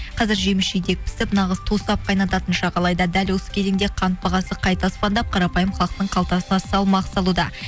қазір жеміс жидек пісіп нағыз тосап қайнататын шақ алайда дәл осы кезеңде қант бағасы қайта аспандап қарапайым халықтың қалтасына салмақ салуда